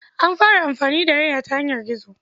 An fara amfani da nera ta yanar gizo.